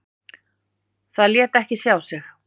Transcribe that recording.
Það lét ekki sjá sig.